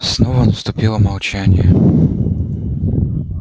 снова наступило молчание